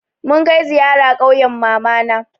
Mun kai ziyara ƙauyen mamana.